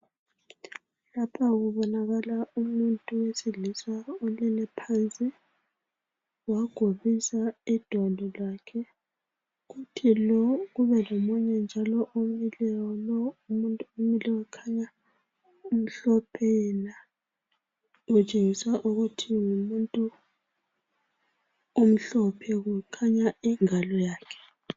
Lapha kubonakala umuntu owesilisa olele phansi wagobisa idolo lakhe. Kube njalo lomileyo. Lo umuntu omileyo ukhanya umhlophe yena utshengisa ukuba numuntu omhlophe kukhanya ingalo yakhe.